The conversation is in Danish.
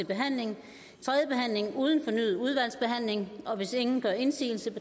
behandling uden fornyet udvalgsbehandling og hvis ingen gør indsigelse